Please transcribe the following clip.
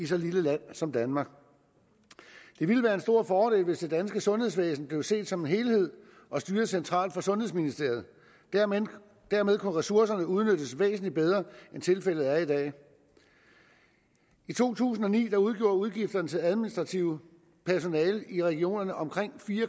så lille land som danmark det ville være en stor fordel hvis det danske sundhedsvæsen blev set som en helhed og styret centralt fra sundhedsministeriet dermed dermed kunne ressourcerne udnyttes væsentlig bedre end tilfældet er i dag i to tusind og ni udgjorde udgifterne til administrativt personale i regionerne omkring fire